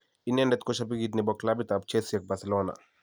Inendet ko Shabikit nebo Clabit ab Chelsea ak Barcelona.